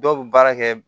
Dɔw bɛ baara kɛ